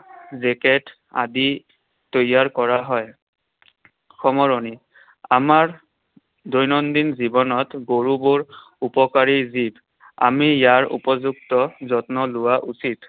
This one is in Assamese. Jacket আদি তৈয়াৰ কৰা হয়। সামৰণি। আমাৰ দৈনন্দিন জীৱনত গৰুবোৰ উপকাৰী জীৱ। আমি ইয়াৰ উপযুক্ত যত্ন লোৱা উচিত।